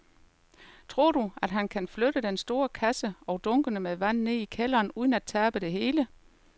Tror du, at han kan flytte den store kasse og dunkene med vand ned i kælderen uden at tabe det hele?